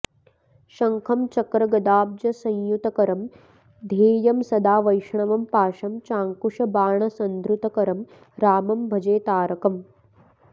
शङ्खं चक्रगदाब्जसंयुतकरं ध्येयं सदा वैष्णवं पाशं चाङ्कुशबाणसन्धृतकरं रामं भजे तारकम्